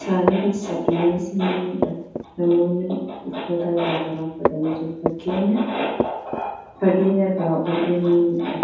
Samii keessa duumessi ni mul'ata. Namoonni uffata garagaraa uffatanii jiru. Fageenya irraa hurriin ni mul'ata.